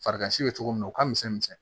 Farigan si bɛ cogo min o ka misɛn misɛn